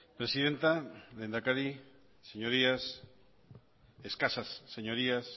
presidenta lehendakari señorías escasas señorías